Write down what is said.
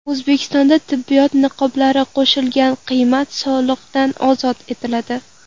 O‘zbekistonda tibbiyot niqoblari qo‘shilgan qiymat solig‘idan ozod etiladi.